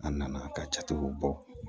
An nana ka jatigiw bɔ